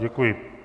Děkuji.